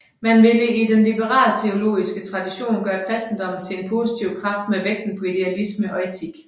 Man ville i den liberalteologiske tradition gøre kristendommen til en positiv kraft med vægten på idealisme og etik